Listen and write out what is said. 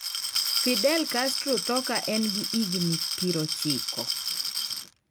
Fidel Castro tho ka en gi higni pirochiko